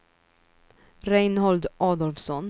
Reinhold Adolfsson